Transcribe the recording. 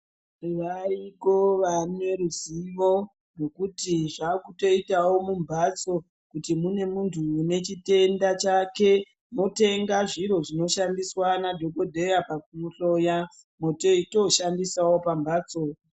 Variko vane ruzivo rekuti zvakutoitawo mumbatso kuti mune muntu une chitenda chake motenga zviro zvinoshandiswa nadhokodheya pakumuhloya teitoshandisawo pambatso.